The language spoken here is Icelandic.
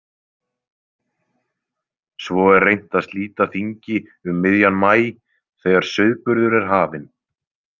Svo er reynt að slíta þingi um miðjan maí þegar sauðburður er hafinn.